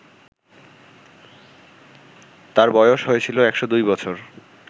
তার বয়স হয়েছিল ১০২ বছর